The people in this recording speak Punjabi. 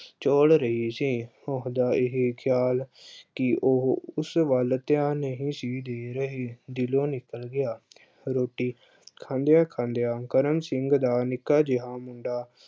ਝੱਲ ਰਿਹਾ ਸੀ। ਉਹਦਾ ਇਹੇ ਖਿਆਲ ਅਹ ਕਿ ਉਹੋ ਉਸ ਵੱਲ ਧਿਆਨ ਨਹੀਂ ਸੀ ਦੇ ਰਹੇ ਦਿਲੋਂ ਨਿਕਲ ਗਿਆ। ਰੋਟੀ ਖਾਂਦਿਆਂ-ਖਾਂਦਿਆਂ ਕਰਮ ਸਿੰਘ ਦਾ ਨਿੱਕਾ ਜਿਹਾ ਮੁੰਡਾ